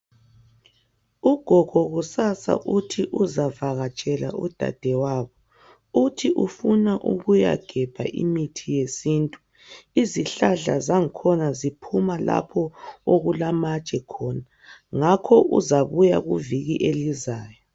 Ugogo kusasa uthi uzavakatshela udadewabo. Uthi ufuna ukuyagebha imithi yesintu. Izihlahla zangkhona ziphuma lapho okulamatshe khona ngakho uzabuya kuviki elizayo.